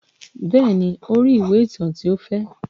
Bẹ́ẹ̀ ni, ó rí ìwé ìtàn tí ó fẹ́.